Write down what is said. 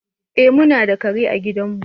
Eh, mu na da kare a gidan mu.